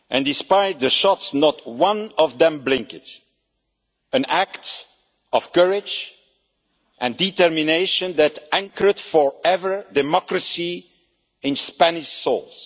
Despite the shots, not one of them blinked, an act of courage and determination that anchored forever democracy in Spanish souls.